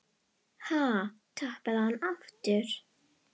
Ha, tapaði hann aftur?